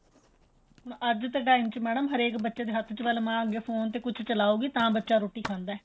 ਅੱਜ ਦੇ time ਚ ਮੈਡਮ ਹਰੇਕ ਬੱਚੇ ਦੇ ਹੱਥ ਪਹਿਲੇ ਮਾਂ ਫੋਨ ਦੇ ਅੱਗੇ ਕੁੱਛ ਚ੍ਲਾਉਗੀ ਤਾਂ ਬੱਚਾ ਰੋਟੀ ਖਾਦਾਂ